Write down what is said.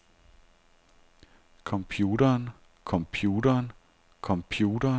computeren computeren computeren